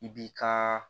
I b'i ka